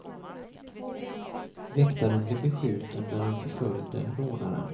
Väktaren blev beskjuten när han förföljde rånaren.